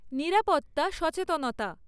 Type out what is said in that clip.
নিরাপত্তা সচেতনতা